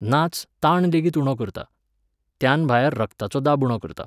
नाच, ताणलेगीत उणो करता, त्यानभायर रगताचो दाब उणो करता